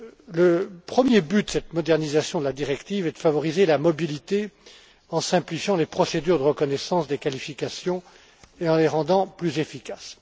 Le premier but de cette modernisation de la directive est de favoriser la mobilité en simplifiant les procédures de reconnaissance des qualifications et en les rendant plus efficaces.